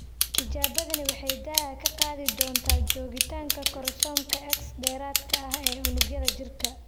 Tijaabadani waxay daaha ka qaadi doontaa joogitaanka koromosoomka X dheeraadka ah ee unugyada jirka.